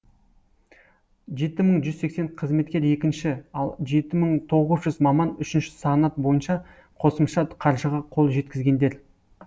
жеті мың бір жүз сексен қызметкер екінші ал жеті мың тоғыз жүз маман үшінші санат бойынша қосымша қаржыға қол жеткізгендер